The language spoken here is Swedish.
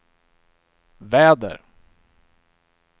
väder